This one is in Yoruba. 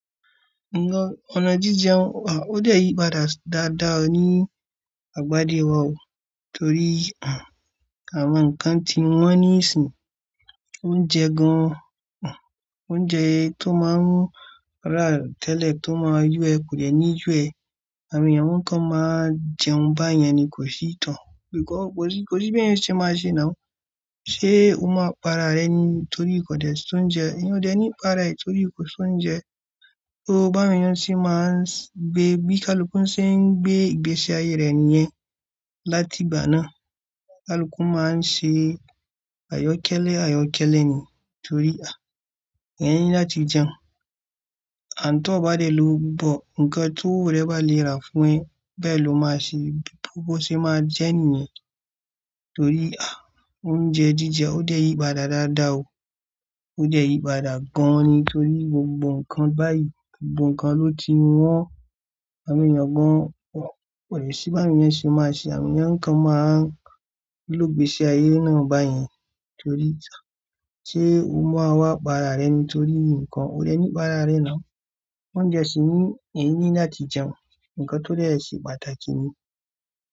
Ọ̀nà jíjẹun wà, ó dẹ̀ yí padà dáadáa ni àgbádé wa o torí àwọn nǹkan tí wọ́n ní sínú oúnjẹ gan-an, oúnjẹ tó máa ń rà tẹ́lẹ̀ tó máa yú ẹ kò dẹ̀ ní yú ẹ. Àmì ènìyàn nǹkan máa jẹun bá yẹn ni kò sí ìtàn. Bí i kọ, kò sí, kò sí bí ẹ̀yin ṣe máa ṣe náà. Ṣé o máa para rẹ ni torí kò dẹ̀ ṣóúnjẹ? Ẹni ò dẹ̀ ní para rẹ̀ torí kò ṣóúnjẹ, tó bá ènìyàn tí máa ń gbé, bí kaluku ṣe ń gbé ìgbésí ayé rẹ nìyẹn, láti ibà náà. Kaluku máa ń ṣe àyọ́kẹ́lẹ́, àyọ́kẹ́lẹ́ ni torí à nìyẹn láti jẹun. Àn tó bá dẹ̀ ló gbọ́, nǹkan tó rẹ́ bá le ra fún ẹ bẹ ló máa ṣe, bó ṣe máa jẹ nìyẹn torí à oúnjẹ jíjẹ ó dẹ̀ yí padà dáadáa o. Ó dẹ̀ yí padà gan-an ni torí gbogbo nǹkan báyìí, gbogbo nǹkan ló ti wọ́n. Àmì ènìyàn gan-an kò dẹ̀ sí bí àwọn ènìyàn ṣe máa ṣe, àwọn ènìyàn nǹkan máa ń ló gbé sí ayé náà bá yẹn torí ìtàn. Ṣé o máa wá para rẹ ni torí nǹkan o rẹ́ ní para rẹ náà? Oúnjẹ sì ni èyí nì láti jẹun, nǹkan tó dẹ̀ ṣe pàtàkì ni.